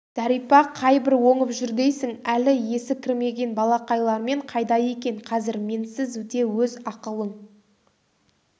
зәрипа қайбір оңып жүр дейсің әлі есі кірмеген балақайлармен қайда екен қазір менсіз де өз ақылың